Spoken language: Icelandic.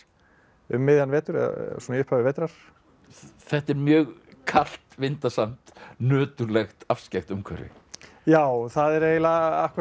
um miðjan vetur eða svona í upphafi vetrar þetta er mjög kalt vindasamt nöturlegt afskekkt umhverfi já það er eiginlega akkúrat það